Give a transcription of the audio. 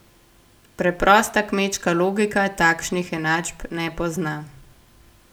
Preprosta kmečka logika takšnih enačb ne pozna.